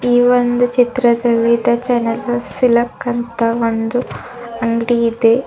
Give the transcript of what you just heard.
ಈ ಒಂದು ಚಿತ್ರದಲ್ಲಿ ದ ಜನಕಲ್ ಸಿಲ್ಕ್ ಅಂತ ಒಂದು ಅಂಗಡಿ ಇದೆ.